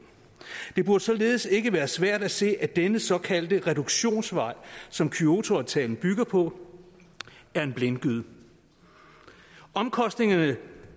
det burde således ikke være svært at se at denne såkaldte reduktionsvej som kyotoaftalen bygger på er en blindgyde omkostningerne